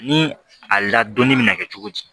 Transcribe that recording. Ni a ladonni bɛ na kɛ cogo di